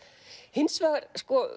hins vegar